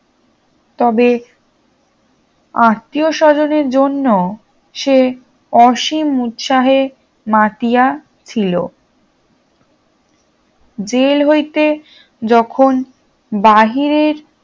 তবে আত্মীয় স্বজনের জন্য সে অসীম উৎসাহে মাতিয়া ছিল জেল হইতে যখন বাহিরের